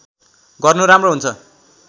गर्नु राम्रो हुन्छ